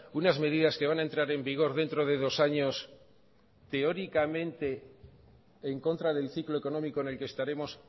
unas medidas que van a entrar en vigor dentro de dos años teóricamente en contra del ciclo económico en el que estaremos